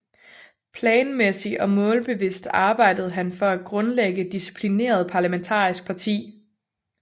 Planmæssig og målbevidst arbejdede han for at grundlægge et disciplineret parlamentarisk parti